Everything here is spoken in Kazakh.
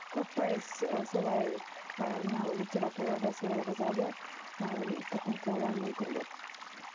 көп пайыз ы солай ы мынау литературада солай жазады ы тұқым қуалау мүмкін деп мхм